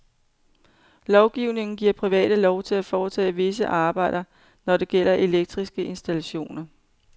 Lovgivningen giver private lov til at foretage visse arbejder, når det det gælder elektriske installationer.